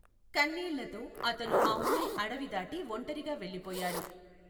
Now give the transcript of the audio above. కన్నీళ్లతో, అతను ఆ ఊరి అడవి దాటి ఒంటరిగా వెళ్లిపోయాడు.